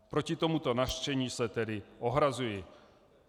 Proti tomuto nařčení se tedy ohrazují.